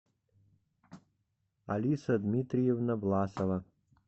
алиса дмитриевна власова